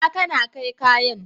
Inna kana kai kayan?